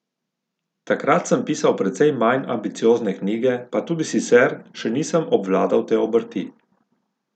Takrat sem pisal precej manj ambiciozne knjige, pa tudi sicer še nisem obvladal te obrti.